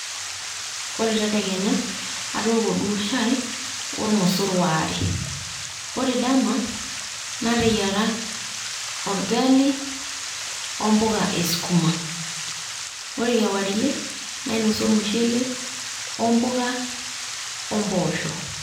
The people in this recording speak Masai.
Ore tedekenya, atooko duo shai ormosor waare. Ore dama, nateyiara orgali o mbuka esukuma. Ore kewarie, nainosa ormushele,o mbuka o mboosho.